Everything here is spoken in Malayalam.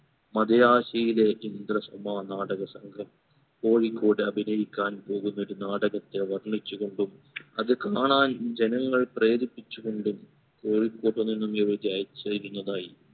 മദ്രാശിയിലെ ഇന്ദ്രസഭാ നാടക സംഘം കോഴിക്കോട് അഭിനയിക്കാൻ പോകുന്ന ഒരു നാടകത്തെ വർണിച്ചു കൊണ്ടും അത് കാണാൻ ജനങ്ങൾ പ്രേരിപ്പിച്ചു കൊണ്ടും കോഴിക്കോട്‌ നിന്നും ഇവർ ചേരുന്നതായി